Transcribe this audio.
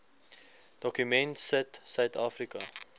dokument sit suidafrika